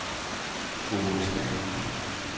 Aage Stæhr